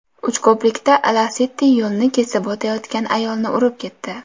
Uchko‘prikda Lacetti yo‘lni kesib o‘tayotgan ayolni urib ketdi.